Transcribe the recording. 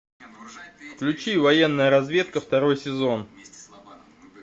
включи военная разведка второй сезон